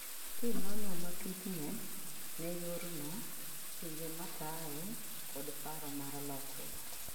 kinono matut ne ne yor no, pinje mataye, kod paro mar lokruok